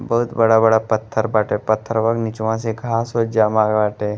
बहुत बड़ा-बड़ा पत्थर बाटे पत्थरवा के निचवा से घाँस ओंस जामा बाटे।